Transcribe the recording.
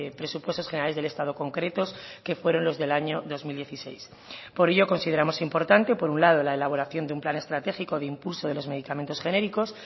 presupuestos generales del estado concretos que fueron los del año dos mil dieciséis por ello consideramos importante por un lado la elaboración de un plan estratégico de impulso de los medicamentos genéricos